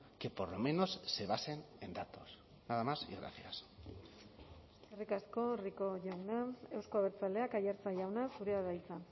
que por lo menos se basen en datos nada más y gracias eskerrik asko rico jauna euzko abertzaleak aiartza jauna zurea da hitza